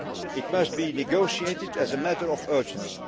It must be negotiated as a matter of urgency.